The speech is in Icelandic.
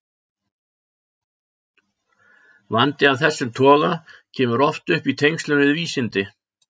Vandi af þessum toga kemur oft upp í tengslum við vísindi.